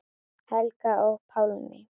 Helga og Pálmi.